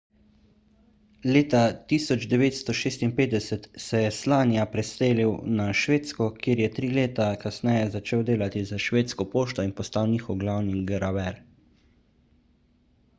leta 1956 se je slania preselil na švedsko kjer je tri leta kasneje začel delati za švedsko pošto in postal njihov glavni graver